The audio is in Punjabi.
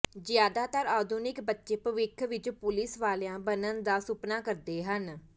ਜ਼ਿਆਦਾਤਰ ਆਧੁਨਿਕ ਬੱਚੇ ਭਵਿੱਖ ਵਿੱਚ ਪੁਲਿਸ ਵਾਲਿਆਂ ਬਣਨ ਦਾ ਸੁਪਨਾ ਕਰਦੇ ਹਨ